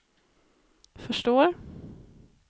förstår